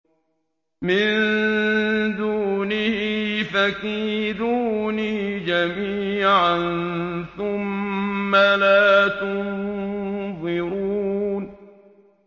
مِن دُونِهِ ۖ فَكِيدُونِي جَمِيعًا ثُمَّ لَا تُنظِرُونِ